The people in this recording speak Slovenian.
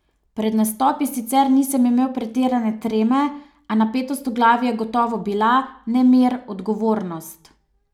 Pred nastopi sicer nisem imel pretirane treme, a napetost v glavi je gotovo bila, nemir, odgovornost.